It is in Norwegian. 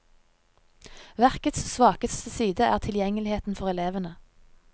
Verkets svakeste side er tilgjengeligheten for elevene.